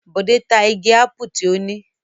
Bọ̀dé ta igi ápù tí ó ní?